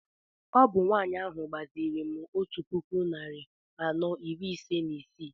Ọ bụ nwanyị ahụ gbaziri m otu puku narị anọ iri ise na isii